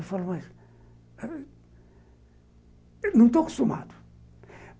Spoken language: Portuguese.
Eu falo, mas não estou acostumado.